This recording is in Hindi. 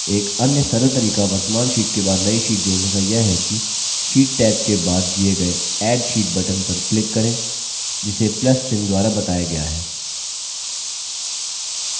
एक अन्य सरल तरीका वर्त्तमान sheet के बाद नई sheet जोड़ने का यह है कि sheet टैब के बाद दिए गए add sheet button पर क्लिक करें जिसे plus + चिन्ह द्वारा बताया गया है